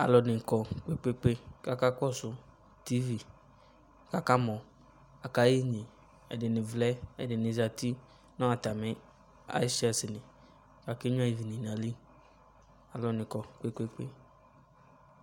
Alɔde ne kɔ kpekpe kaka kɔso tivi kaka mɔ Aka yɛ inye, Ɛdene nevlɛ ɛdene zati no atame ayitsɛsili kake nyua ivi ne na yili Alu ne kɔ kpekpe